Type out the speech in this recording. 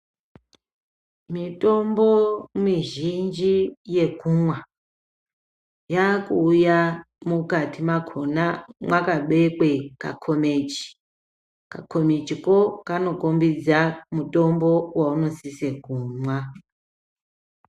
Mitombo mizhinji yekumwa, yakuuya mukati mwakhona mwakabekwe kakomichi. Kakomichiko kanokombidza mutombo waunosise kumwa.